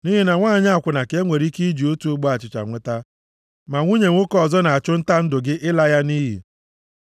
Nʼihi na nwanyị akwụna ka enwere ike iji otu ogbe achịcha nweta, ma nwunye nwoke ọzọ na-achụ nta ndụ gị ịla ya nʼiyi.